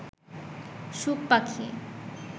সুখ পাখি